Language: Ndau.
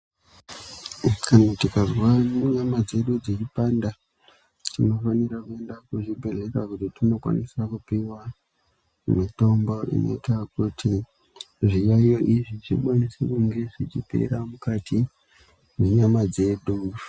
Kana tikazwa nyama dzedu dzeipanda tinofanira kuenda kuzvibhedhlera kuti tinokwanisa kupiwa mitombo inoita kuti zviyaiyo izvi zvikwanise kunge zvechipera mukati mwenyana dzedu.